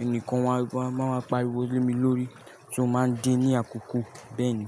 ẹni kan wá, wá, máa wá pariwo lé mi lórí tí ó máa ń dé ní àkókò bẹ́ẹ̀ni.